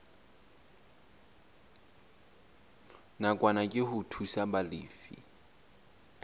nakwana ke ho thusa balefi